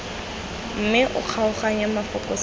mme o kgaoganye mafoko sentle